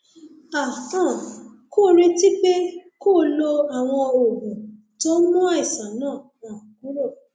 a um kò retí pé kó o lo àwọn oògùn tó ń mú àìsàn náà um kúrò